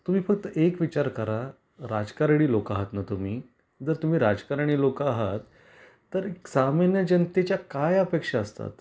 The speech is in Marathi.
तुम्ही फक्त एक विचार करा राजकारणी लोक आहात ना तुम्ही जर तुम्ही राजकारणी लोक आहात तर एक सामान्य जनतेच्या काय अपेक्षा असतात